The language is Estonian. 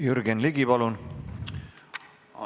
Jürgen Ligi, palun!